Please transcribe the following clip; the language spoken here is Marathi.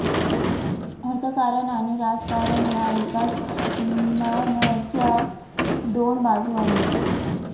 अर्थकारण आणि राजकारण या एकाच नाण्याच्या दोन बाजू आहेत